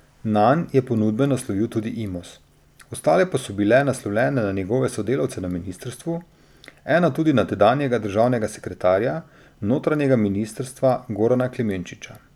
Nanj je ponudbo naslovil tudi Imos, ostale pa so bile naslovljene na njegove sodelavce na ministrstvu, ena tudi na tedanjega državnega sekretarja notranjega ministrstva Gorana Klemenčiča.